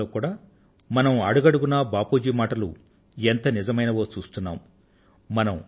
ప్రస్తుత కాలంలో కూడా మనం అడుగడుగునా బాపూ జీ మాటలు ఎంత నిజమైనవో చూస్తున్నాం